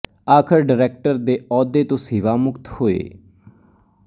ਆਖਰ ਡਾਇਰੈਕਟਰ ਦੇ ਅਹੁਦੇ ਤੋਂ ਸੇਵਾ ਮੁਕਤ ਹੋਏ